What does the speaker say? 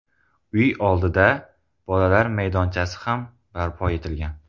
Uy oldida bolalar maydonchasi ham barpo etilgan.